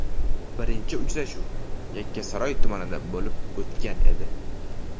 Birinchi uchrashuv Yakkasaroy tumanida bo‘lib o‘tgan edi.